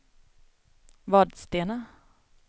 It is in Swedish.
Vadstena